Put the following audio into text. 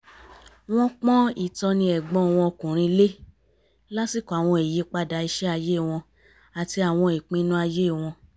wọ́n pọ́n ìtọ́ni ẹ̀gbọ́n wọn ọkùnrin lé lásìkò àwọn ìyípadà iṣẹ́ ayé wọn àti àwọn ìpinnu ayé wọn